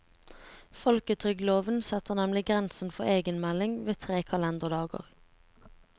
Folketrygdloven setter nemlig grensen for egenmelding ved tre kalenderdager.